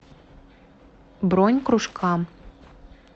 бронь кружка